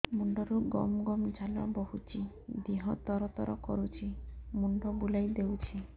ମୁଣ୍ଡରୁ ଗମ ଗମ ଝାଳ ବହୁଛି ଦିହ ତର ତର କରୁଛି ମୁଣ୍ଡ ବୁଲାଇ ଦେଉଛି